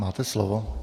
Máte slovo.